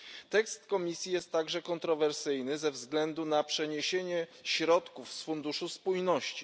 Tekst Komisji jest także kontrowersyjny ze względu na przeniesienie środków z Funduszu Spójności.